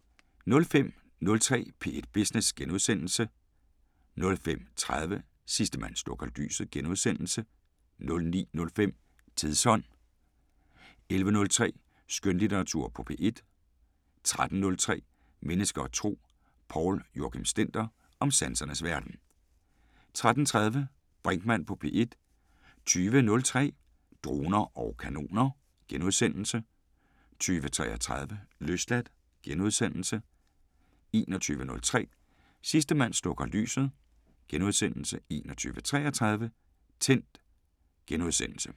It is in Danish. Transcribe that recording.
05:03: P1 Business * 05:30: Sidste mand slukker lyset * 09:05: Tidsånd 11:03: Skønlitteratur på P1 13:03: Mennesker og Tro: Poul Joachim Stender om sansernes verden 13:30: Brinkmann på P1 20:03: Droner og kanoner * 20:33: Løsladt * 21:03: Sidste mand slukker lyset * 21:33: Tændt *